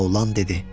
Laolan dedi.